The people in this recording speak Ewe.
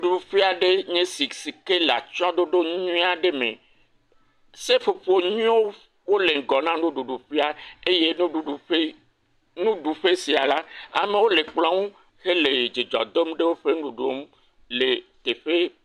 Doƒe aɖe nye esi sike le atsyɔe ɖoɖo nyuie aɖe me. Seƒoƒo nyuiewo le ŋgɔ na nuɖuɖu ƒea eye nuɖuɖu ƒe, nuɖuƒe sia la, amewo le kplɔ ŋu hele dzidzɔ dom ɖe woƒe nuɖuɖueo ŋu le teƒe.